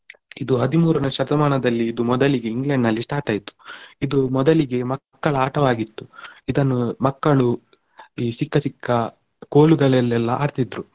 ಇದು ಹದಿಮೂರನೇ ಶತಮಾನದಲ್ಲಿ ಇದು ಮೊದಲಿಗೆ England ನಲ್ಲಿ start ಆಯ್ತು ಇದು ಮೊದಲಿಗೆ ಮಕ್ಕಳ ಆಟವಾಗಿತ್ತು ಇದನ್ನು ಮಕ್ಕಳು ಈ ಸಿಕ್ಕ ಸಿಕ್ಕ ಕೋಲುಗಳಲೆಲ್ಲ ಆಡ್ತಿದ್ರು